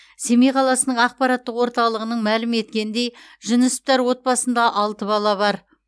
семей қаласының ақпараттық орталығынан мәлім еткендей жүнісовтар отбасында алты бала бар